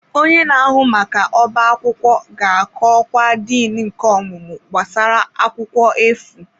Onye na-ahụ maka ọbá akwụkwọ ga-akọ ọkwa Dean nke ọmụmụ gbasara akwụkwọ efu.